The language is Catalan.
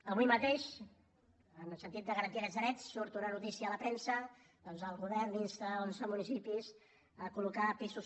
avui mateix en el sentit de garantir aquests drets surt una notícia a la premsa doncs el govern insta onze municipis a col·amb això